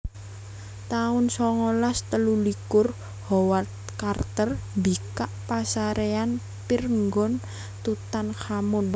taun songolas telulikur Howard Carter mbikak pasaréyan Pirngon Tutankhamun